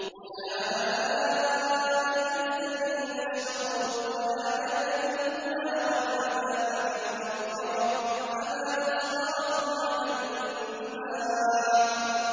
أُولَٰئِكَ الَّذِينَ اشْتَرَوُا الضَّلَالَةَ بِالْهُدَىٰ وَالْعَذَابَ بِالْمَغْفِرَةِ ۚ فَمَا أَصْبَرَهُمْ عَلَى النَّارِ